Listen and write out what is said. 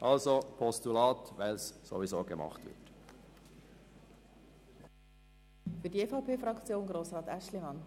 Wir sind für ein Postulat, weil ohnehin etwas in dieser Richtung getan wird.